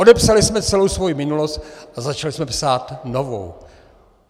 Odepsali jsme celou svou minulost a začali jsme psát novou.